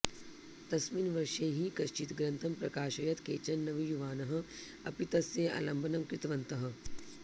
तस्मिन वर्षे हि कश्चित् ग्रन्थं प्रकाशयत् केचन नवयुवानः अपि तस्य आलम्बनं कृतवन्तः